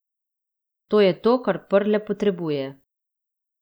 To je to, kar Prle potrebuje.